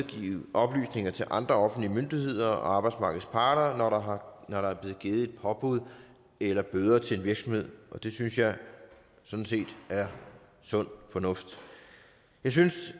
oplysninger til andre offentlige myndigheder og arbejdsmarkedets parter når der er blevet givet et påbud eller bøder til en virksomhed det synes jeg sådan set er sund fornuft jeg synes